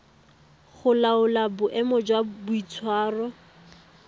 go laola boemo jwa boitshwaro